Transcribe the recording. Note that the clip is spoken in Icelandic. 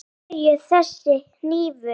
Af hverju þessi hnífur?